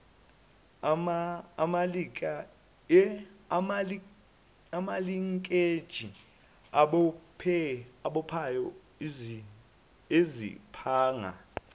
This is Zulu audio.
amalinkeji abophayo iziphanga